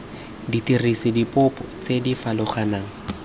dirisa dipopi tse di farologaneng